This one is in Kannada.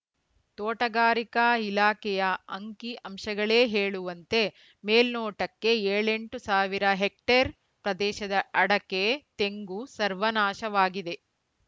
ತೋಟಗಾರಿಕಾ ಇಲಾಖೆಯ ಅಂಕಿ ಅಂಶಗಳೇ ಹೇಳುವಂತೆ ಮೇಲ್ನೋಟಕ್ಕೆ ಏಳೆಂಟು ಸಾವಿರ ಹೆಕ್ಟೇರ್‌ ಪ್ರದೇಶದ ಅಡಕೆ ತೆಂಗು ಸರ್ವನಾಶವಾಗಿದೆ